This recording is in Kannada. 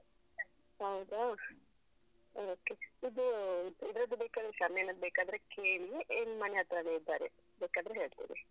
ಹೌದಾ okay ಇದು ಇದ್ರದ್ದು ಬೇಕಾದ್ರೆ ಶಾಮಿಯಾನದ್ದು ಬೇಕಾದ್ರೆ ಕೇಳಿ ಇಲ್ ಮನೆ ಹತ್ರಾನೇ ಇದ್ದಾರೆ, ಬೇಕಾದ್ರೆ ಹೇಳ್ತೇವೆ.